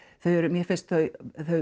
mér finnst þau